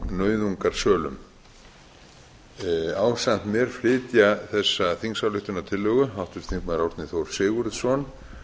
nauðungarsölum ásamt mér flytja þessa þingsályktunartillögu háttvirtir þingmenn árni þór sigurðsson